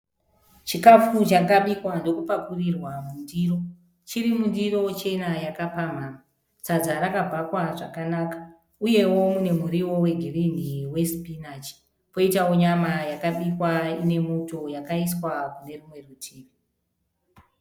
Chikafu chabikwa ndokupakurirwa mundiro. Chiri mundiro chena yakapamhamha. Sadza rakabhakwa zvakanaka uyewo mune muriwo wegirinhi wesipinachi. Poitawo nyama yakabikwa ine muto yakaiswa kune rumwe rutivi.